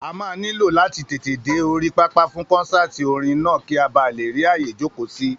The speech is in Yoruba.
A máa nílò láti tètè dé orí pápá fún kọ́nsáàti orin náà kì a ba lè rí àyè jókòó sí